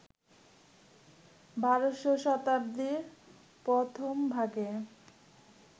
১২শ শতাব্দীর প্রথমভাগে,